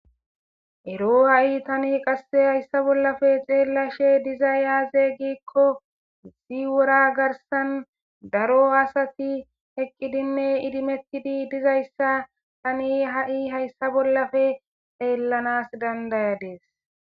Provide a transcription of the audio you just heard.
Ero ha'i tani qasse hayssa bollafe xeellashe diza yaaze giikko isi wora garsan daro asati eqqidinne idimetidi dizayssa tani ha7i hayssa bollafe xeellanas dandayadees